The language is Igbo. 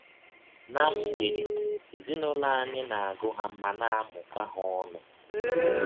Ná mgbede, ezinụlọ anyị na - agụ ha ma na - amụkọ ha ọnụ.